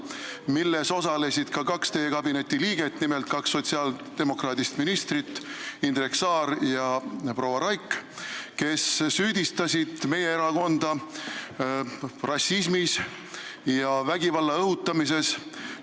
Nendes osalesid ka kaks teie kabineti liiget, nimelt kaks sotsiaaldemokraadist ministrit, Indrek Saar ja proua Raik, kes süüdistasid meie erakonda rassismis ja vägivalla õhutamises.